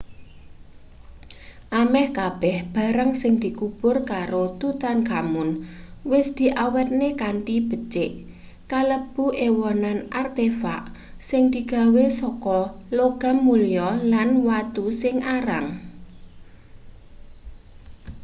ameh kabeh barang sing dikubur karo tutankhamun wis diawetne kanthi becik kalebu ewonan artefak sing digawe saka logam mulya lan watu sing arang